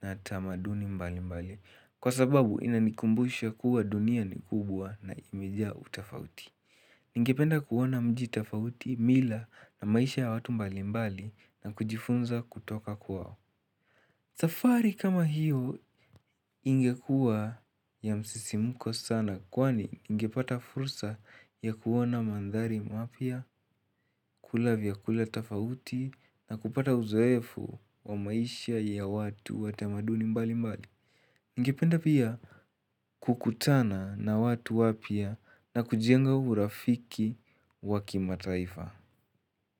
na tamaduni mbalimbali kwa sababu inanikumbusha kuwa dunia ni kubwa na imejaa utofauti. Ningependa kuona mji tofauti mila na maisha ya watu mbalimbali na kujifunza kutoka kwao. Safari kama hiyo ingekuwa ya msisimko sana kwani ningepata fursa ya kuona mandhari mapya, kula vyakula tofauti na kupata uzoefu wa maisha ya watu wa tamaduni mbalimbali. Ningependa pia kukutana na watu wapya na kujenga urafiki wa kimataifa.